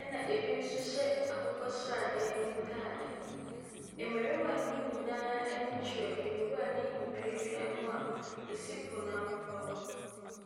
ɛna ebi nso hyɛ akokɔ sradeɛ ntaade. Mmarima no nyinaa ani kyerɛ nwura ne nnua noa esi poano hɔ no.